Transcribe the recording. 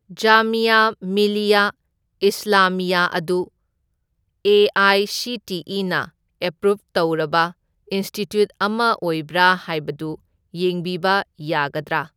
ꯖꯥꯃꯤꯌꯥ ꯃꯤꯂꯤꯌꯥ ꯏꯁꯂꯥꯃꯤꯌꯥ ꯑꯗꯨ ꯑꯦ.ꯑꯥꯏ.ꯁꯤ.ꯇꯤ.ꯏ.ꯅ ꯑꯦꯄ꯭ꯔꯨꯞ ꯇꯧꯔꯕ ꯏꯟꯁꯇꯤꯇ꯭ꯌꯨꯠ ꯑꯃ ꯑꯣꯏꯕ꯭ꯔꯥ ꯍꯥꯏꯕꯗꯨ ꯌꯦꯡꯕꯤꯕ ꯌꯥꯒꯗ꯭ꯔꯥ?